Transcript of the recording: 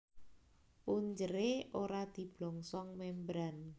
Punjeré ora diblongsong membran